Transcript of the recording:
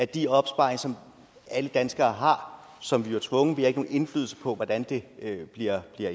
de opsparinger som alle danskere har og som vi er tvunget til vi har ikke nogen indflydelse på hvordan de bliver